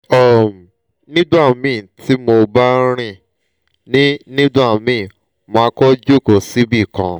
um nigbamii ti mo ba rin ni nigbamii ma ko joko sibikan